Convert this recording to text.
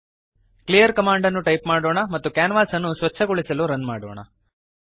clear command ಅನ್ನು type ಮಾಡೋಣ ಮತ್ತು ಕ್ಯಾನ್ವಾಸ್ ಅನ್ನು ಸ್ವಚ್ಛಗೊಳಿಸಲು ರನ್ ಮಾಡೋಣ